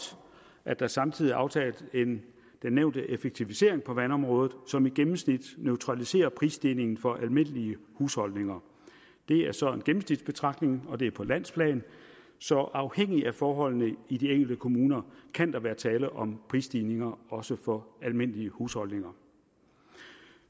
at der samtidig er aftalt den nævnte effektivisering på vandområdet som i gennemsnit neutraliserer prisstigningen for almindelige husholdninger det er så en gennemsnitsbetragtning og det er på landsplan så afhængigt af forholdene i de enkelte kommuner kan der være tale om prisstigninger også for almindelige husholdninger